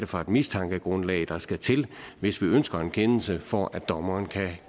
for et mistankegrundlag der skal til hvis vi ønsker en kendelse for at dommeren